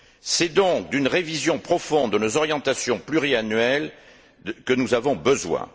C'est donc d'une révision profonde de nos orientations pluriannuelles que nous avons besoin.